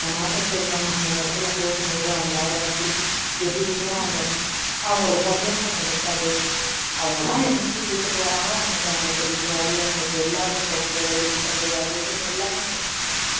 நாட்டை சேர்ந்தவங்க அந்தந்த இடத்துல போகும்போது அவங்களால வந்து எதையுமே அவங்களை அவங்களோட சந்தோஷங்கள் இருக்காது அவங்கல்லாம் என்னைக்கு வீட்டுக்கு வராங்களோ அன்னைக்கு அவங்களுக்கு தீபாவளி அவங்களுக்கு எல்லாமே பொங்கல் ஹோலி பண்டிகை அது இதுன்னு எல்லாமே